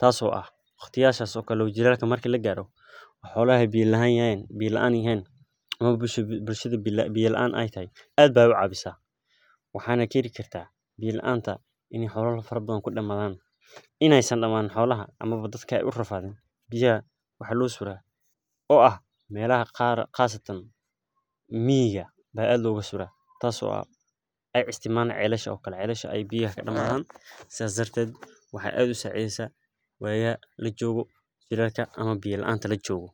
tas oo ah waqtiyashas oo kale jilalka marki lagaro xolaha biya laan yahan ama ba bulshada biya laan ay tahay ad bay ucawisah. Waxay na keni kartah biya laanta ini xola far bathan kudamadan, inaay san damanin xolaha ama ba dadka ay urafadin biyah waxa losuraah oo ah melaha qar qasatan miyiga aa ad loga suraah tas oo ah aa isticmaan celasha oo kale ,celasha ay biyaha kadamadan sidas darted waxay ad usacideysah wayaha lajogo jilalka ama biya laanta lajogo.